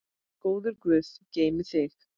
Góður guð geymi þig.